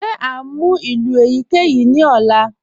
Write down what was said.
Ṣe à ǹ mú ilù eyikeyi ni ọ̀là?